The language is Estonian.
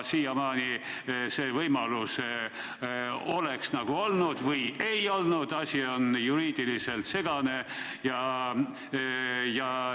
Siiamaani see võimalus oleks nagu olnud – või ei olnud, asi on juriidiliselt segane.